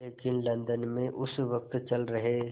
लेकिन लंदन में उस वक़्त चल रहे